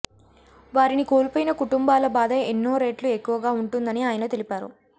వారిని కోల్పోయిన కుటుంబాల బాధ ఎన్నో రెట్లు ఎక్కువగా ఉంటుందని ఆయన తెలిపారు